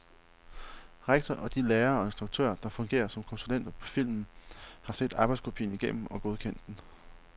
Rektor og de lærere og instruktører, der fungerer som konsulenter på filmen, har set arbejdskopien igennem og godkendt den.